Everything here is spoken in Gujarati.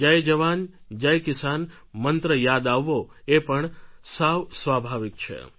જય જવાન જય કિસાન મંત્ર યાદ આવવો એ પણ સાવ સ્વાભાવિક છે